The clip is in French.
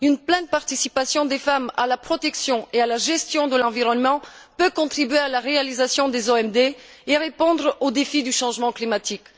Une pleine participation des femmes à la protection et à la gestion de l'environnement peut contribuer à la réalisation des OMD et répondre aux défis du changement climatique.